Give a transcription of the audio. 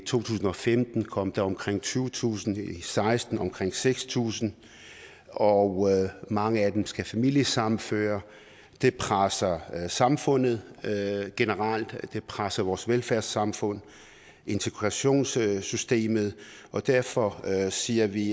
tusind og femten kom der omkring tyvetusind i seksten omkring seks tusind og mange af dem skal familiesammenføres det presser samfundet generelt og det presser vores velfærdssamfund og integrationssystem og derfor siger vi